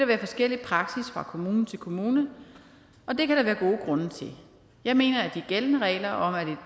være forskellig praksis fra kommune til kommune og det kan der være gode grunde til jeg mener at de gældende regler om at et